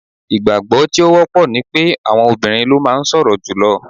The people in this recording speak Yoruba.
Ìgbàgbọ́ tí ó wọ́pọ̀ ni pé àwọn obìrin ló máa ń sọ̀rọ̀ jùlọ.